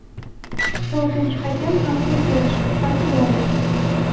To‘rtinchi hakam Artur Diash (Portugaliya).